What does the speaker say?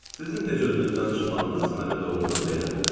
Sizin necə özünüzdən çıxmağınız məni doğrudan da əyləndirir.